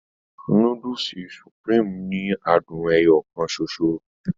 Núdùùsì "Supreme" ni àádùn ẹyọ kàn ṣoṣo.